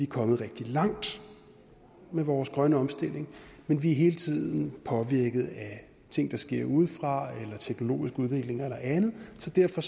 kommet rigtig langt med vores grønne omstilling men vi er hele tiden påvirket af ting der sker udefra eller teknologisk udvikling eller andet så derfor